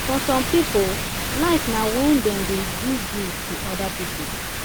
for some pipo life na when dem dey do good to oda pipo